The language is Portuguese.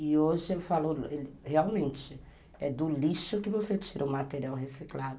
E hoje eu falo, realmente, é do lixo que você tira o material reciclado.